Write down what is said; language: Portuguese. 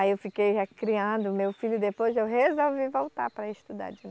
Aí eu fiquei já criando o meu filho e depois eu resolvi voltar para estudar de novo.